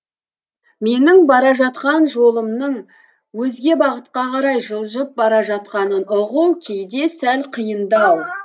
менің бара жатқан жолымның өзге бағытқа қарай жылжып бара жатқанын ұғу кейде сәл қиындау